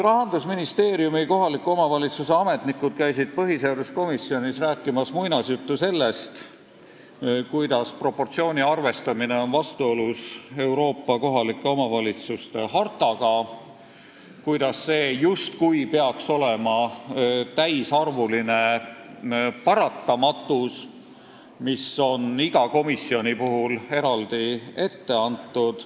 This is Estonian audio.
Rahandusministeeriumis kohaliku omavalitsuse teemaga tegelevad ametnikud käisid põhiseaduskomisjonis rääkimas muinasjuttu sellest, kuidas proportsiooni arvestamine on vastuolus Euroopa kohaliku omavalitsuse hartaga, kuidas see justkui peaks olema täisarvuline paratamatus, mis on iga komisjoni puhul eraldi ette antud.